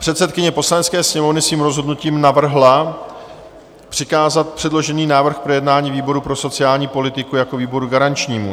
Předsedkyně Poslanecké sněmovny svým rozhodnutím navrhla přikázat předložený návrh k projednání výboru pro sociální politiku jako výboru garančnímu.